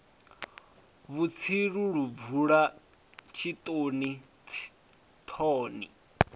vhutsilu lu bvula tshitoni thoni